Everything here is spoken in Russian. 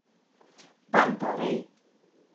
панта рэй